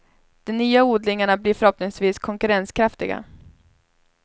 De nya odlingarna blir förhoppningsvis konkurrenskraftiga.